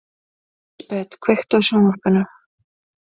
Lísebet, kveiktu á sjónvarpinu.